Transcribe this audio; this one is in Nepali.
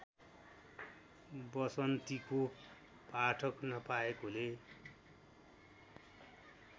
वसन्तीको पाठक नपाएकोले